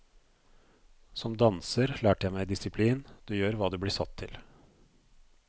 Som danser lærte jeg meg disiplin, du gjør hva du blir satt til.